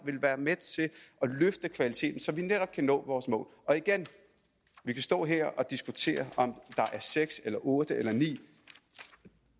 vil være med til at løfte kvaliteten så vi netop kan nå vores mål vi kan stå her og diskutere om der er seks eller otte eller ni